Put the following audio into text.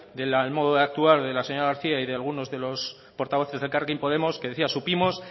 del modo de actuar de la señora garcía y de algunos de los portavoces de elkarrekin podemos que decía supimos